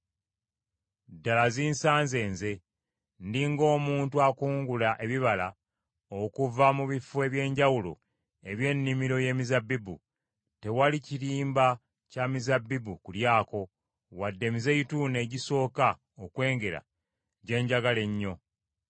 Ddala zinsanze nze. Ndi ng’omuntu akungula ebibala okuva mu bifo eby’enjawulo eby’ennimiro y’emizabbibu; tewali kirimba kya mizabbibu kulyako, wadde emizeeyituuni egisooka okwengera gye njagala ennyo.